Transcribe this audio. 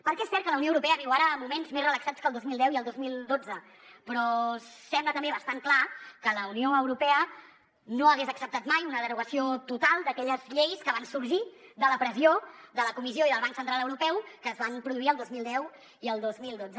perquè és cert que la unió europea viu ara moments més relaxats que el dos mil deu i el dos mil dotze però sembla també bastant clar que la unió europea no hagués acceptat mai una derogació total d’aquelles lleis que van sorgir de la pressió de la comissió i del banc central europeu que es van produir el dos mil deu i el dos mil dotze